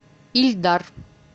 ильдар